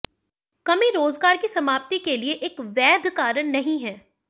कमी रोजगार की समाप्ति के लिए एक वैध कारण नहीं है